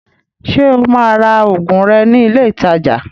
Ṣé o máa ra òògùn rẹ̀ ní ilé ìtajà?